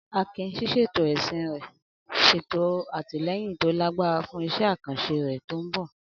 Akin, ṣíṣètò ẹṣin rẹ̀, ṣètò àtìlẹ́yìn tó lágbára fún iṣẹ́ àkànṣe rẹ̀ tó ń bọ̀.